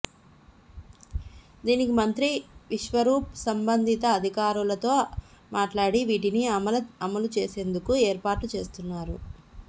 దీనికి మంత్రి విశ్వరూప్ సంబంధిత అధికారులతో మాట్లాడి వీటిని అమలు చేసేందుకు ఏర్పాట్లు చేస్తున్నారు